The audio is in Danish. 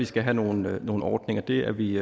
skal have nogle nogle ordninger det er vi